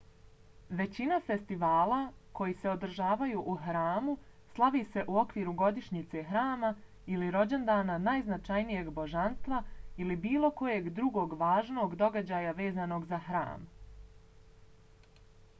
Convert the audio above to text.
većina festivala koji se održavaju u hramu slavi se u okviru godišnjice hrama ili rođendana najznačajnijeg božanstva ili bilo kojeg drugog važnog događaja vezanog za hram